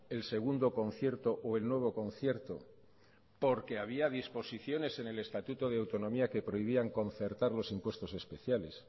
el segundo concierto o el nuevo concierto porque había disposiciones en el estatuto de autonomía que prohibían concertar los impuestos especiales